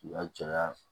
caya